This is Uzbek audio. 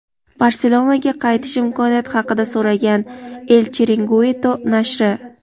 "Barselona"ga qaytish imkoniyati haqida so‘ragan – "El Chiringuito" nashri.